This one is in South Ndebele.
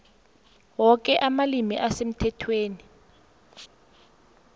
woke amalimi asemthethweni